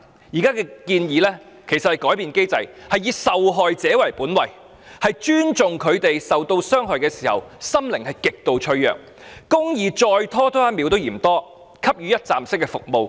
現時的建議是要改變機制，以受害者為本位，尊重他們受到傷害後的心靈極度脆弱，公義再拖延多一秒也嫌多，並提供一站式服務。